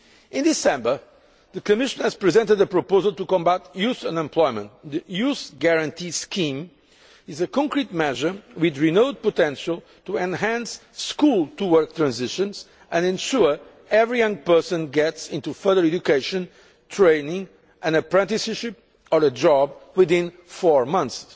In December, the Commission presented a proposal to combat youth unemployment the youth guarantee scheme is a concrete measure with renewed potential to enhance school to work transitions and ensure every young person gets into further education, training, an apprenticeship or a job within four